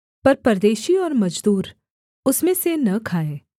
पर परदेशी और मजदूर उसमें से न खाएँ